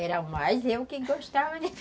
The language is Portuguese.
Era mais eu que gostava de